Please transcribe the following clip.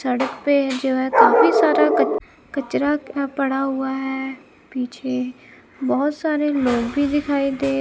सड़क पे जो है काफी सारा कच कचरा गिरा पड़ा हुआ है पीछे बहुत सारे लोग भी दिखाई दे--